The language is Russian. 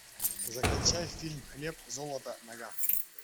закачай фильм хлеб золото нога